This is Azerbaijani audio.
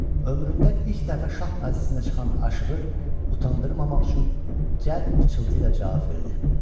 Ömründə ilk dəfə şah məclisinə çıxan aşığı utandırmamaq üçün cəld pıçıltıyla cavab verdi.